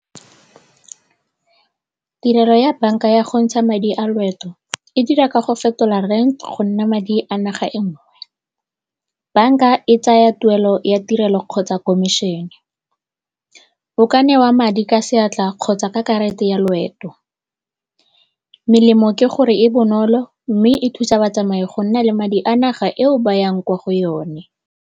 Tirelo ya banka ya go ntsha madi a loeto e dira ka go fetola rent go nna madi a naga engwe. Banka e tsaya tuelo ya tirelo kgotsa komišene, o ka newa madi ka seatla kgotsa ka karata ya loeto. Melemo ke gore e bonolo mme e thusa batsamai go nna le madi a naga eo ba yang kwa go yone.